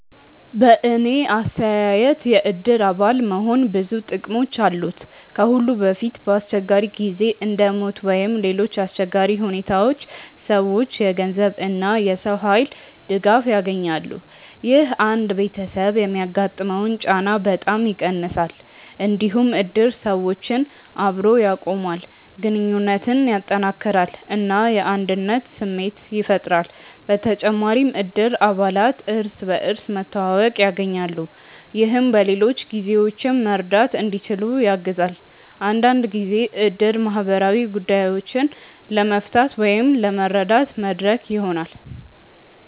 በእኔ አስተያየት የእድር አባል መሆን ብዙ ጥቅሞች አሉት። ከሁሉ በፊት በአስቸጋሪ ጊዜ እንደ ሞት ወይም ሌሎች አሰቸጋሪ ሁኔታዎች ሰዎች የገንዘብ እና የሰው ኃይል ድጋፍ ያገኛሉ። ይህ አንድ ቤተሰብ የሚያጋጥመውን ጫና በጣም ይቀንሳል። እንዲሁም እድር ሰዎችን አብሮ ያቆማል፣ ግንኙነትን ያጠናክራል እና የአንድነት ስሜት ያፈጥራል። በተጨማሪም እድር አባላት እርስ በርስ መተዋወቅ ያገኛሉ፣ ይህም በሌሎች ጊዜዎችም መርዳት እንዲችሉ ያግዛል። አንዳንድ ጊዜ እድር ማህበራዊ ጉዳዮችን ለመፍታት ወይም ለመረዳት መድረክ ይሆናል።